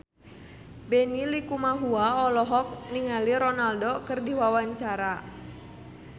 Benny Likumahua olohok ningali Ronaldo keur diwawancara